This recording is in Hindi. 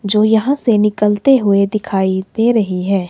जो यहां से निकलते हुए दिखाई दे रही है।